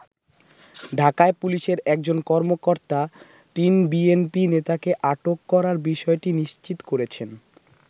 ঢাকায় পুলিশের একজন কর্মকর্তা তিন বিএনপি নেতাকে আটক করার বিষয়টি নিশ্চিত করেছেন।